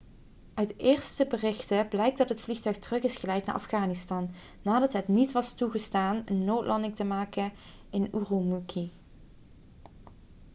uit eerste berichten blijkt dat het vliegtuig terug is geleid naar afghanistan nadat het niet was toegestaan een noodlanding te maken in ürümqi